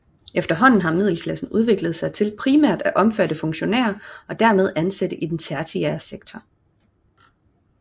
Efterhånden har middelklassen udviklet sig til primært at omfatte funktionærer og dermed ansatte i den tertiære sektor